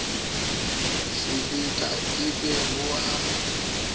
silika e be ho ba